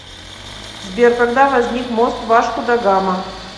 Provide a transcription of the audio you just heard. сбер когда возник мост вашку да гама